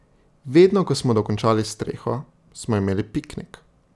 Vedno ko smo dokončali streho, smo imeli piknik.